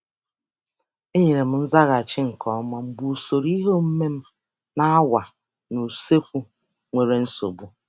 Enyere m nzaghachi nke ọma mgbe usoro ihe omume m na awa n' usekwu nwere nsogbu.